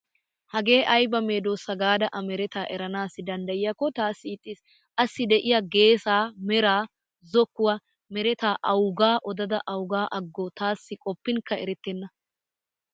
Hagee ayba medoosa gaada a meretaa eranaassi danddayiyaakko taassi ixxiis. Assi de'iya geesaa, meraa, zokkuwa meretaa awugaa odada awuga aggo taassi qoppinkka erettenna.